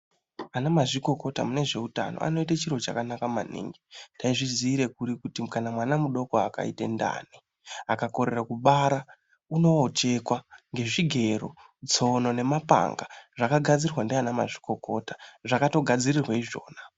Ana mazvikokota mune zveutano anoite chiro chakanaka maningi. Taizviziire kuri kuti kana mwana mudoko akaite ndani akakorere kubara unochekwa ngezvigero, tsono nemapanga zvakagadzirwa ndiana mazvikokota zvakatogadzirirwe izvona.